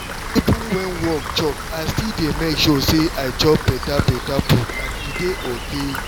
even when work choke i still dey make sure say i i chop better better food and e dey okay